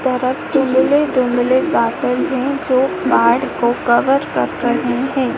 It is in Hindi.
दुमले दुमले गाटर है जो गार्ड को कवर कर रहे हैं।